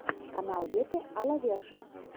канал вете а ла верша